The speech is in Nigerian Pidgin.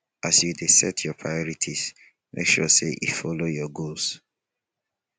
as you dey set your prorities make sure sey e follow your goals